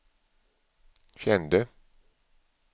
kände